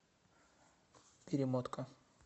перемотка